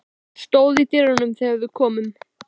Hún stóð í dyrunum þegar við komum.